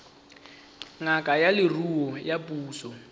ngaka ya leruo ya puso